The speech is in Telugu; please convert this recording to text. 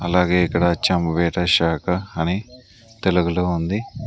అలాగే ఇక్కడ చంవీర శాఖ అని తెలుగులో ఉంది.